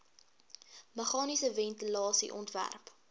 meganiese ventilasie ontwerp